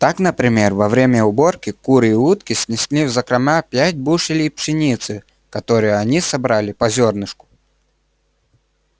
так например во время уборки куры и утки снесли в закрома пять бушелей пшеницы которую они собрали по зёрнышку